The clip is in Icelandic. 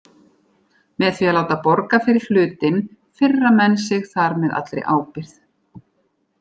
Með því að láta borga fyrir hlutinn firra menn sig þar með allri ábyrgð.